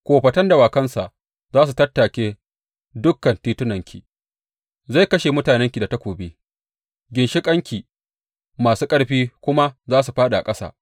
Kofatan dawakansa za su tattake dukan titunanki; zai kashe mutanenki da takobi, ginshiƙanki masu ƙarfi kuma za su fāɗi a ƙasa.